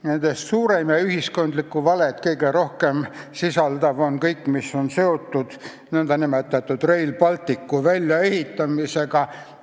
Nendest suurim ja kõige rohkem ühiskondlikku valet sisaldav on kõik, mis on seotud Rail Balticu väljaehitamisega.